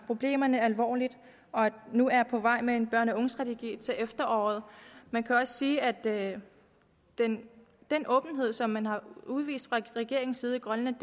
problemerne alvorligt og nu er på vej med en børne og ungestrategi til efteråret man kan også sige at den den åbenhed som man har udvist fra regeringens side i grønland